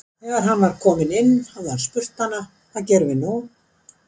Þegar hann var kominn inn hafi hann spurt hana: Hvað gerum við nú?